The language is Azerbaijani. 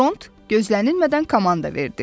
Dront gözlənilmədən komanda verdi.